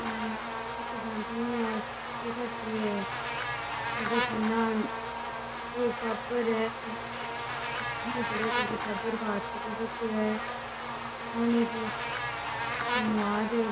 ओ तो ध्यान कोणी आज की है जठ है ना एक टाबर है पड़ियो है जको बी टाबर को हाथ पकड़ रखियो है पानी को --